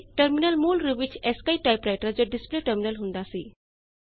ਪਹਿਲੇ ਟਰਮਿਨਲ ਮੂਲ ਰੂਪ ਵਿੱਚ ਐਸੀਆਈਆਈ ਟਾਈਪਰਾਈਟਰ ਜਾਂ ਡਿਸਪਲੇ ਟਰਮਿਨਲ ਹੁੰਦਾ ਸੀ